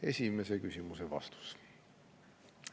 Esimese küsimuse vastus.